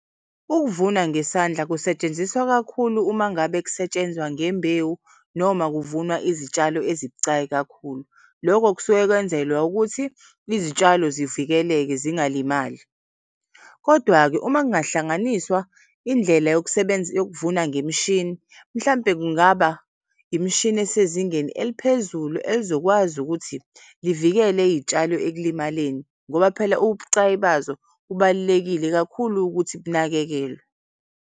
Ukuvuna ngesandla kusetshenziswa kakhulu umangabe kusetshenzwa ngembewu noma kuvunwa izitshalo ezibucayi kakhulu. Lokho kusuke kwenzelwa ukuthi izitshalo zivikeleke zingalimali. Kodwa-ke uma kungahlanganiswa indlela yokuvuna ngemishini mhlampe kungaba imishini esezingeni eliphezulu elizokwazi ukuthi livikele iy'tshalo ekulimaleni ngoba phela ubucayi bazo bubalulekile kakhulu ukuthi bunakekelwe.